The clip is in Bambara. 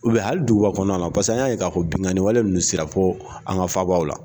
hali duguba kɔnɔna na paseke an y'a ye k'a fɔ binganin wale ninnu sera fo an ga fabaa la.